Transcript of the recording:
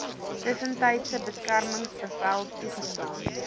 tussentydse beskermingsbevel toegestaan